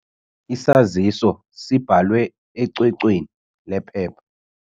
Isaziso sibhalwe ecwecweni lephepha.